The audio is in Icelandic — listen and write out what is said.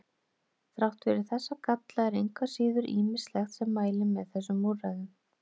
Þrátt fyrir þessa galla er engu að síður ýmislegt sem mælir með þessum úrræðum.